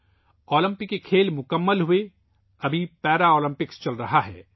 Olympic کھیل ختم ہوچکے ہیں ، اب پیرالمپکس جاری ہیں